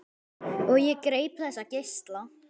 Og ég greip þessa geisla.